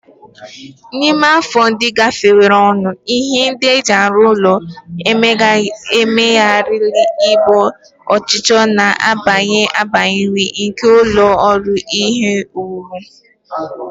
Na ime afọ ndị gafeworonụ, ihe ndị e ji arụ ụlọ emezigharịla iji gboo ọchịchọ na-agbanwe agbanwe nke ụlọ ọrụ ihe owuwu